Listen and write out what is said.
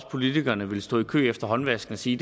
at politikerne ville stå i kø ved håndvasken og sige